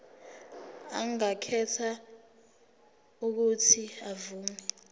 angakhetha uuthi avume